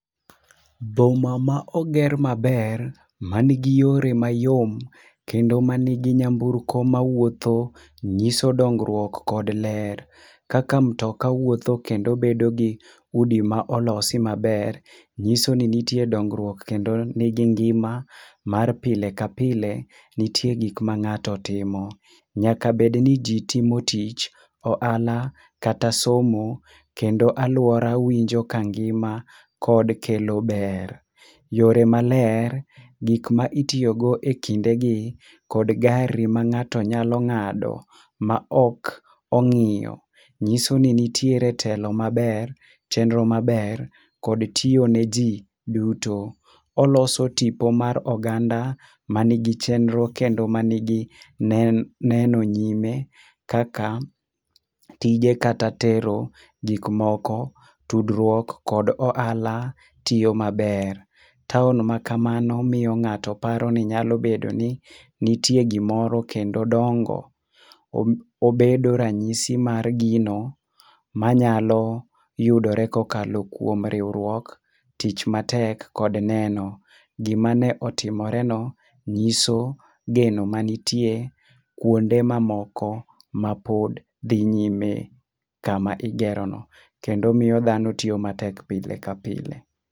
Boma ma oger maber, man gi yore mayom kendo man gi nyamburko mawuotho nyiso dongruok kod ler. Kaka mutoka wuotho kendo bedo gi udi ma olos maber, nyiso ni nitie dongruok kendo nigingima mar pile ka pile, nitie gik ma ng'ato timo. Nyaka bed ni ji timo tich, ohala kata somo kendo aluora winjo ka ngima kod kelo ber. Yore maler, gik ma itiyogo ekindegi kod gari ma ng'ato nyalo ng'ado, maok ong'iyo. Nyiso ni nitiere telo maber, chenro maber kod tiyo neji duto. Oloso tipo mar oganda man gi chemnro kendo man gi neno nyime kaka tije kata tero gik moko. Tudruok kod ohala tiyo maber. Taon makamano miyo ng'ato nyalo paro ni nyalo bedo ni nitie gimoro kendo dongo obedo ranyisi mar gino manyalo yudore kokalo kuom riwuok, tich matek kod neno. Gimane otimoreno nyiso geno mantie kuonde mamoko mapod dhi nyime kama igerono kendo miyo dhano tiyo matek pile kapile